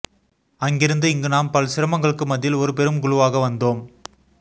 அங்கிருந்து இங்கு நாம் பல் சிரமங்களுக்கு மத்தியில் ஒரு பெரும் குழுவாக வந்தோம்